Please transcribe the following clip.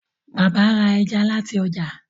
Bàbá ra ẹja láti ojà.